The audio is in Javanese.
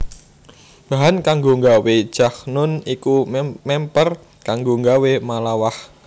Bahan kanggo nggawé jakhnun iku mèmper kanggo nggawé malawakh